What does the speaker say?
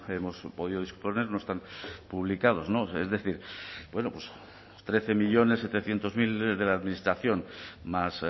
hemos podido disponer no están publicados es decir bueno pues trece millónes setecientos mil de la administración más